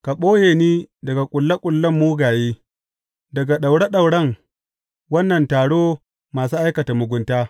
Ka ɓoye ni daga ƙulle ƙullen mugaye, daga daure dauren wannan taro masu aikata mugunta.